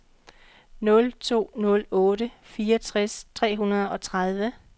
nul to nul otte fireogtres tre hundrede og tredive